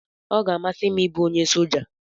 Ọ ga-amasị m ịbụ onye soja